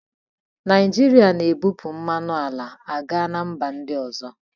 Naijiria na-ebupụ mmanụ ala a ga na mba ndị ọzọ.